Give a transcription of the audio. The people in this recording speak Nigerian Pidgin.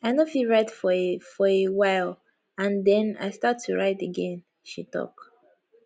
i no fit write for a for a while and den i start to write again she tok